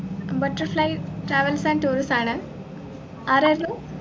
butterfly travels and tourism ആണ് ആരായിരുന്നു